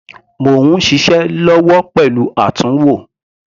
Mò ń ṣiṣẹ́ lọ́wọ́ pẹ̀lú àtúnwò.